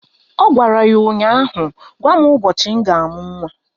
Ọ gwara ya ụnyaahụ "Gwa m ụbọchị m ga-amụ nwa"!